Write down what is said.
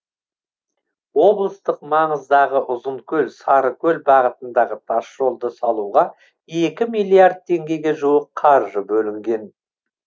облыстық маңыздағы ұзынкөл сарыкөл бағытындағы тасжолды салуға екі миллиард теңгеге жуық қаржы бөлінген